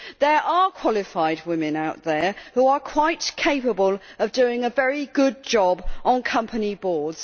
There are qualified women out there who are quite capable of doing a very good job on company boards.